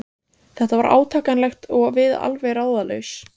Þetta var átakanlegt og við alveg ráðalaus.